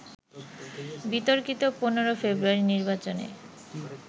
বিতর্কিত ১৫ ফেব্রুয়ারির নির্বাচনে